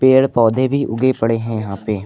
पेड़ पौधे भी उगे पड़े हैं यहां पे।